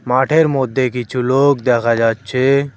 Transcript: মাঠের মধ্যে কিছু লোক দেখা যাচ্ছে।